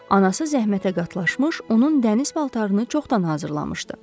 Anası zəhmətə qatlaşmış, onun dəniz paltarını çoxdan hazırlamışdı.